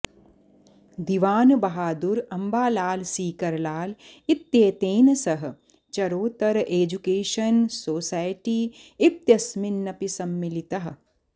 दिवान बहादुर अम्बालाल सीकरलाल इत्येतेन सह Charotar education society इत्यस्मिन्नपि सम्मिलितः